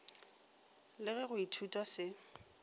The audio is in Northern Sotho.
le ge go ithutwa se